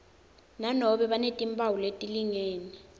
nanobe banetimphawu letilingene